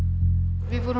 við vorum